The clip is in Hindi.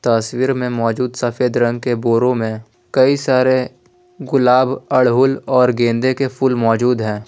तस्वीर में मौजूद सफेद रंग के बोरो में कई सारे गुलाब अड़हुल और गेंदे के फूल मौजूद हैं।